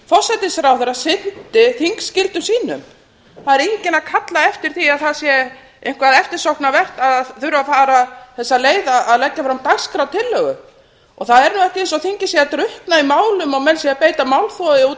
forsætisráðherra sinnti þingskyldum sínum það er engin að kalla eftir því að það sé eitthvað eftirsóknarvert að þurfa að fara þessa leið að leggja fram dagskrártillögu og það er nú ekki svo þingið sé að drukkna í málum og menn sé að beita málþófi út